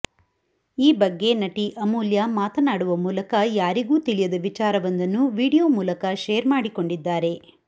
ಈ ಬಗ್ಗೆ ನಟಿ ಅಮೂಲ್ಯ ಮಾತನಾಡುವ ಮೂಲಕ ಯಾರಿಗೂ ತಿಳಿಯದ ವಿಚಾರವೊಂದನ್ನು ವಿಡಿಯೋ ಮೂಲಕ ಶೇರ್ ಮಾಡಿಕೊಂಡಿದ್ದಾರೆ